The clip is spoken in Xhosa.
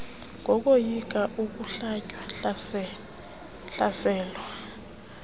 kokoyika ukohlwaywa hlaselwa